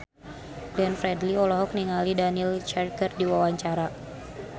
Glenn Fredly olohok ningali Daniel Craig keur diwawancara